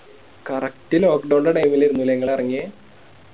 Correct lockdown ൻറെ Time ൽ ആയിരുന്നു ലെ ഇങ്ങളേറങ്ങിയെ